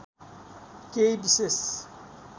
केही विशेष